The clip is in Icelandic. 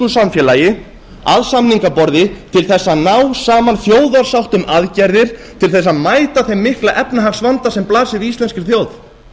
samfélagi að samningaborði til þess að ná saman þjóðarsátt um aðgerðir til þess að mæta þeim mikla efnahagsvanda sem blasir við íslenskri þjóð